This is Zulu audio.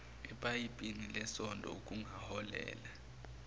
epayipini lesondo okungaholela